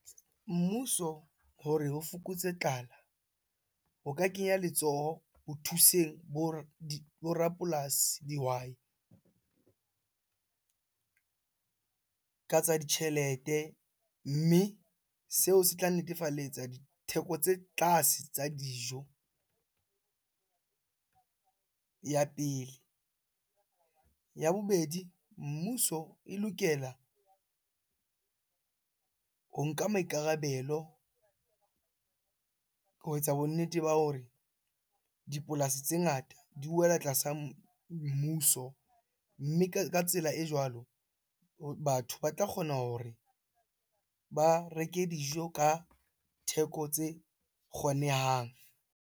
Mmuso hore o fokotse tlala, o ka kenya letsoho ho thuseng bo rapolasi, dihwai ka tsa ditjhelete. Mme seo se tla netefalletsa ditheko tse tlase tsa dijo, ya pele. Ya bobedi, mmuso e lokela ho nka maikarabelo ho etsa bonnete ba hore dipolasi tse ngata di wela tlasa mmuso. Mme ka tsela e jwalo batho ba tla kgona hore ba reke dijo ka theko tse kgonehang.